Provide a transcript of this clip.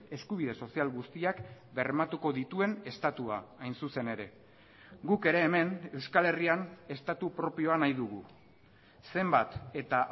eskubide sozial guztiak bermatuko dituen estatua hain zuzen ere guk ere hemen euskal herrian estatu propioa nahi dugu zenbat eta